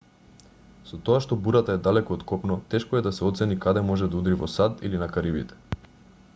со тоа што бурата е далеку од копно тешко е да се оцени каде може да удри во сад или на карибите